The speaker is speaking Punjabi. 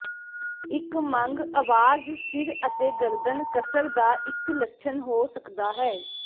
ਇੱਕ ਮੰਗ ਅਵਾਜ਼ ਸਿਰ ਅਤੇ ਗਰਦਨ ਕਸਰ ਦਾ ਇੱਕ ਲੱਛਣ ਹੋ ਸਕਦਾ ਹੈ